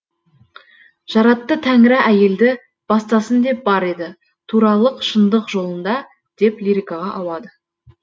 жаратты тәңірі әйелді бастасын деп бар еді туралық шындық жолында деп лирикаға ауады